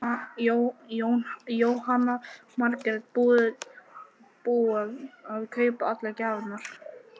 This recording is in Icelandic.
Jóhanna Margrét: Búið að kaupa allar gjafirnar?